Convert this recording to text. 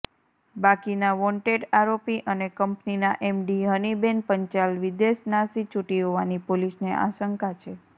બાકીના વોન્ટેડ આરોપી અને કંપનીના એમડી હનિબેન પંચાલ વિદેશ નાસી છુટી હોવાની પોલીસને આશંકા છે